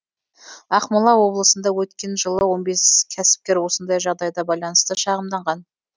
ақмола облысында өткен жылы он бес кәсіпкер осындай жағдайға байланысты шағымданған